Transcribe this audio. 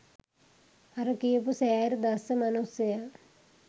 අර කියපු "සෑර්" දස්ස මනුස්සයා